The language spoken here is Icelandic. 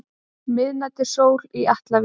Miðnætursól í Atlavík.